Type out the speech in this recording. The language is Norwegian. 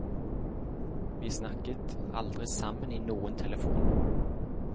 Vi snakket aldri sammen i noen telefon.